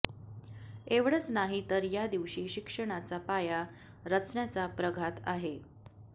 एवढंच नाही तर या दिवशी शिक्षणाचा पाया रचण्याचा प्रघात आहे